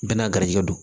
Bɛɛ n'a garijɛgɛ don